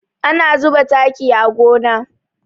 Ana zuba taki a gona.